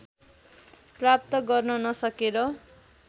प्राप्त गर्न नसकेर